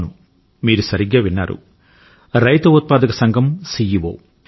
అవును మీరు సరిగ్గా విన్నారు రైతు ఉత్పాదక సంఘం సిఇఒ